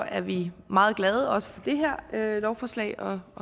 er vi meget glade også for det her lovforslag og